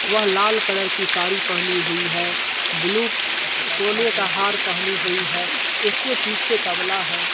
वह लाल कलर की सारी पहनी हुई है। ब्लू सोने का हार पहनी हुई है। उसके पीछे तबला है।